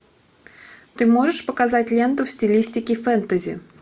ты можешь показать ленту в стилистике фэнтези